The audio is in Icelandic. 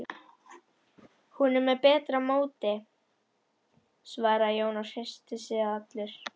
Hún er með betra móti, svaraði Jón og hresstist allur.